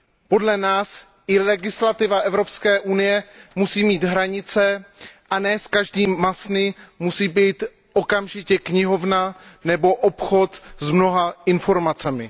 Podle nás i legislativa EU musí mít hranice a ne z každé masny musí být okamžitě knihovna nebo obchod s mnoha informacemi.